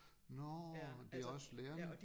Nårh det også lærerne?